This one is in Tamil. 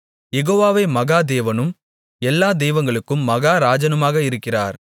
யெகோவாவே மகா தேவனும் எல்லா தெய்வங்களுக்கும் மகாராஜனுமாக இருக்கிறார்